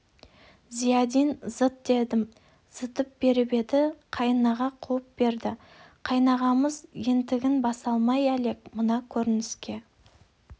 зиядин зыт дедім зытып беріп еді қайынаға қуып берді қайынағамыз ентігін баса алмай әлек мына көрініске